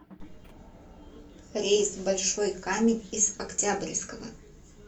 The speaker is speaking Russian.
рейс в большой камень из октябрьского